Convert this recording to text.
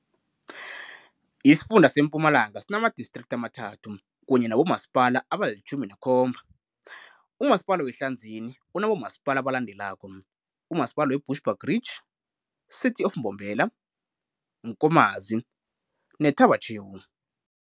Isifunda sempumalanga sinama District ama-3 kanye nabo Masipala aba li-17 Umasipala weHlanzeni unabomaspala abalandelako- umasipala we Bushbuckridge, City of Mbombela, Nkomazi, ne-Thaba chew.